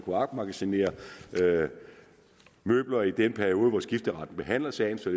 opmagasinere møbler i den periode hvor skifteretten behandler sagen så